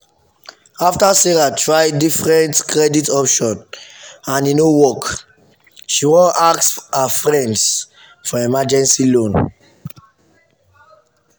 after sarah try different credit option and e no work she wan ask her friends for emergency loan.